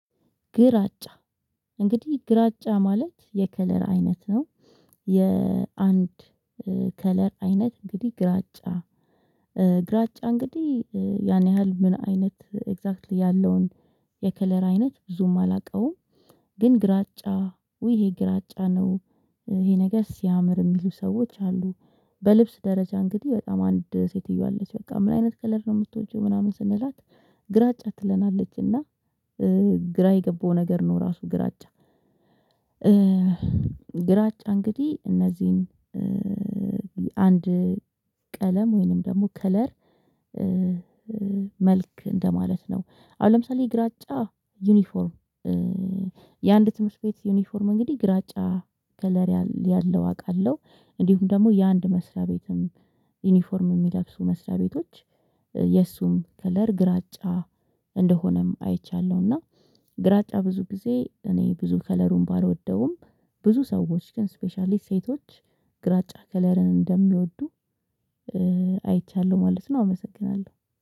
ግራጫ እንግዲህ ግራጫ ማለት የከለር አይነት ነው። የአንድ ከለር አይነት እንግዲህ ግራጫ ግራጫ እንግዲህ ያን ያህል ምን አይነት ኤግዛክትሊ ያለውን የከለር አይነት ብዙም አላውቀውም። ግን ግራጫ ውይ ይሄ ግራጫ ነው። ይሄ ነገር ሲያምር የሚሉ ሰዎች አሉ። በልብስ ደረጃ እንግዲህ በጣም አንድ ሴትዬ አለች በቃ ምን አይነት ከለር ነው የምትወጂው ምናምን ስንላት? ግራጫ ትለናለች እና ግራ የገባው ነገር ነው እራሱ ግራጫ። ግራጫ እንግዲህ እነዚህን አንድ ቀለም ወይንም ደግሞ ከለር መልክ እንደማለት ነው። አሁን ለምሳሌ ግራጫ ዩኒፎርም የአንድ ትምህርት ቤት ዩኒፎርም እንግዲህ ግራጫ ከለሪ ያለው አውቃለሁ። እንዲሁም ደግሞ የአንድ መስሪያ ቤትም ዩኒፎርም የሚለብሱ መስሪያ ቤቶች የእሱም ከለር ግራጫ እንደሆነም አይቻለሁ። እና ግራጫ ብዙ ጊዜ እኔ ብዙ ከለሩን ባልወደውም ብዙ ሰዎች ግን ስፔሻሊ ሴቶች ግራጫ ከለርን እንደሚወዱ አይቻለሁ ማለት ነው። አመሰግናለሁ።